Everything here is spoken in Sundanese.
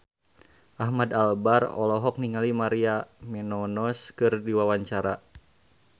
Ahmad Albar olohok ningali Maria Menounos keur diwawancara